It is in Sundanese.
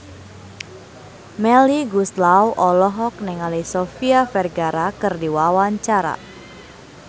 Melly Goeslaw olohok ningali Sofia Vergara keur diwawancara